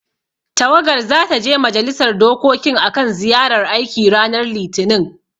Tawagar zata je majalisar dokokin akan ziyarar aiki ranar Litinin.